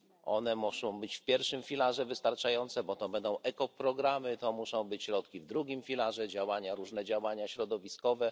One muszą być w pierwszym filarze wystarczające, bo to będą ekoprogramy, to muszą być środki w drugim filarze działania, różne działania środowiskowe.